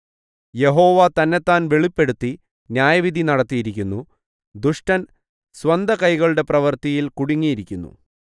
യഹോവ തന്നെത്താൻ വെളിപ്പെടുത്തി ന്യായവിധി നടത്തിയിരിക്കുന്നു ദുഷ്ടൻ സ്വന്തകൈകളുടെ പ്രവൃത്തിയിൽ കുടുങ്ങിയിരിക്കുന്നു തന്ത്രിനാദം സേലാ